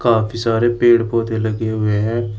काफी सारे पेड़ पौधे लगे हुए हैं।